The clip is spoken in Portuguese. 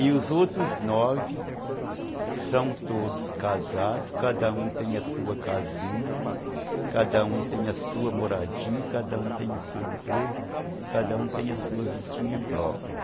E os outros nove são todos casados, cada um tem a sua casinha, cada um tem a sua moradinha, cada um tem o seu emprego, cada um tem a sua vidinha própria.